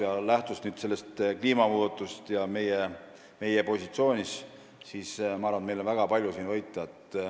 Ma arvan, et lähtudes kliimamuudatustest ja meie positsioonist on meil väga palju siin võita.